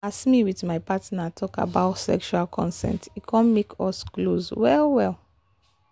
as me with my partner talk about sexual consent e come make us close well well